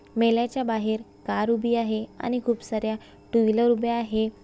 मेल्याच्या बाहेर कार उभी आहे आणि खूप साऱ्या टू व्हीलर उभी आहे.